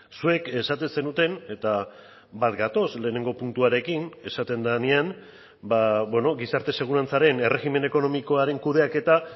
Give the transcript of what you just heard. zuek esaten zenuten eta bat gatoz lehenengo puntuarekin esaten denean gizarte segurantzaren erregimen ekonomikoaren kudeaketa